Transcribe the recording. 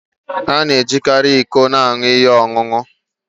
A na-ejikarị iko aṅụ ihe ọṅụṅụ.